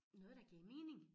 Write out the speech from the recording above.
Noget der gav mening